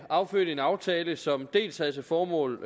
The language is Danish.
affødte en aftale som dels havde til formål